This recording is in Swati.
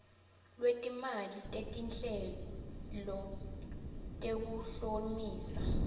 lwetimali tetinhlelo tekuhlomisa